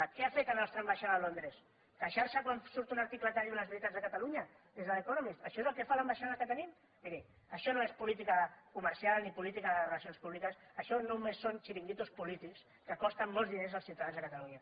què ha fet la nostra ambaixada a londres queixar se quan surt un article que diu les veritats de catalunya des de l’economist això és el que fa l’ambaixada que tenim miri això no és política comercial ni política de relacions públiques això només són xiringuitos polítics que costen molts diners als ciutadans de catalunya